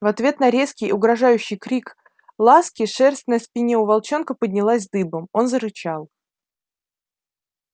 в ответ на резкий угрожающий крик ласки шерсть на спине у волчонка поднялась дыбом он зарычал